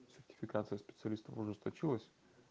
сертификация специалистов ужесточилась